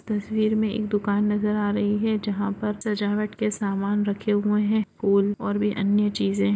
तस्वीर में एक दुकान नज़र आ रही है जहाँ पर सजावट के सामान रखे हुए है फूल और भी अन्य चीजे है।